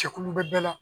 Jɛkulu bɛ bɛɛ la